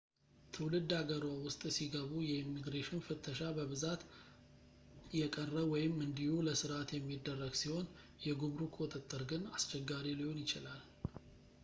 ትውልድ ሃገርዎ ውስጥ ሲገቡ የኢሚግሬሽን ፍተሻ በብዛት የቀረ ወይም እንዲሁ ለስርዓት የሚደረግ ሲሆን የጉምሩክ ቁጥጥር ግን አስቸጋሪ ሊሆን ይችላል